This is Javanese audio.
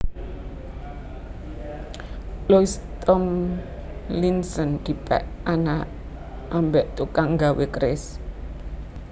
Louis Thomlinson dipek anak ambek tukang gawe keris